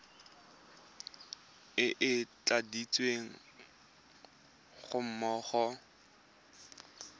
e e tladitsweng ga mmogo